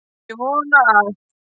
Ég vona að